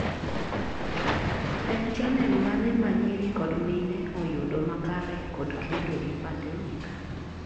En channel mane ma nyiri kod mine oyudo makare kod kedo gi pandemic?